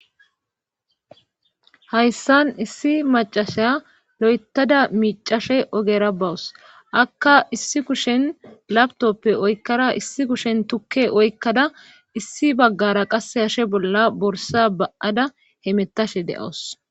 Hayssan issi macashay lo'etada miicashe ogera bawus akka issi kushen laptopppe oykkada issi kushen tukke oykkada issi baggara qasse hashe bolla borsa ba'ada hemettashe de'owos.